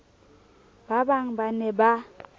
ba bang ba ne ba